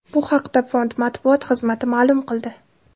Bu haqda fond matbuot xizmati ma’lum qildi .